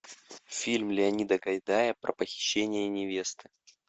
фильм леонида гайдая про похищение невесты